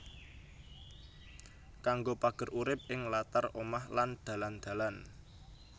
Kanggo pager urip ing latar omah lan dalan dalan